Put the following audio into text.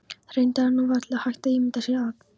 Reyndar er nú varla hægt að ímynda sér að